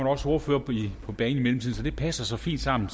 også ordførere på banen i mellemtiden så det passer så fint sammen